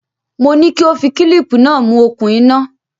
Mo ní kí ó fi kílíìpì náà mú okùn iná.